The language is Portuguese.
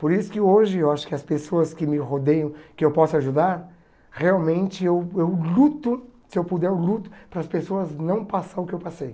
Por isso que hoje, eu acho que as pessoas que me rodeiam, que eu posso ajudar, realmente eu eu luto, se eu puder, eu luto para as pessoas não passar o que eu passei.